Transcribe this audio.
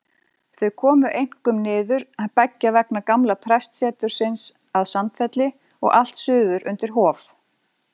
Þau komu einkum niður beggja vegna gamla prestsetursins að Sandfelli og allt suður undir Hof.